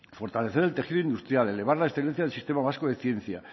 fortalecer el tejido industrial elevar la excelencia del sistema vasco de ciencia